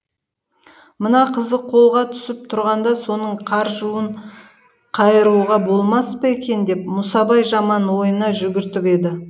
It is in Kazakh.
мына қызы қолға түсіп тұрғанда соның қаржуын қайыруға болмас па екен деп мұсабай жаман ойына жүгіртіп еді